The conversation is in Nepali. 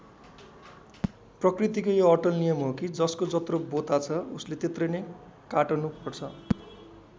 प्रकृतिको यो अटल नियम हो कि जसको जत्रो बोता छ उसले त्यत्रै नै काटनु पर्छ।